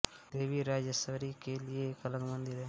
देवी राजराजेश्वरी के लिए एक अलग मंदिर है